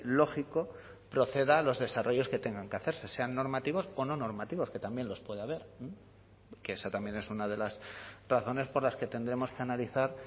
lógico proceda a los desarrollos que tengan que hacerse sean normativos o no normativos que también los puede haber que esa también es una de las razones por las que tendremos que analizar